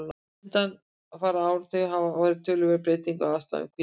undanfarna áratugi hafa orðið töluverðar breytingar á aðstæðum hvítabjarna